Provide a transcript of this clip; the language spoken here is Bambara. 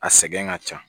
A sɛgɛn ka ca